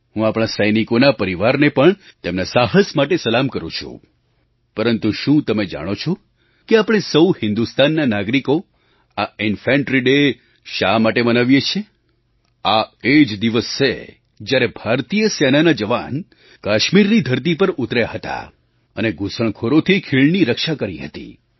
હું આપણા સૈનિકોના પરિવારને પણ તેમના સાહસ માટે સલામ કરું છું પરંતુ શું તમે જાણો છો કે આપણે સહુ હિન્દુસ્તાનના નાગરિકો આ Ínfantry ડે શા માટે મનાવીએ છીએ આ એ જ દિવસ છે જ્યારે ભારતીય સેનાના જવાન કાશ્મીરની ધરતી પર ઉતર્યા હતા અને ઘૂસણખોરોથી ખીણની રક્ષા કરી હતી